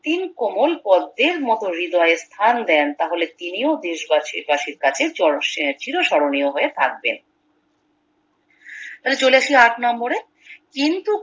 রক্তিম কোমল পদ্মের মতো হৃদয়ে স্থান দেন তাহলে তিনিও দেশ বাসীর বাসীর কাছে চর চির স্মরণীয় হয়ে থাকবে চলে আসি আট নম্বরে কিন্তু